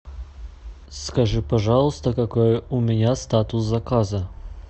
скажи пожалуйста какой у меня статус заказа